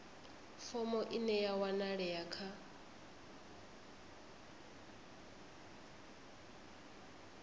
fomo ine ya wanalea kha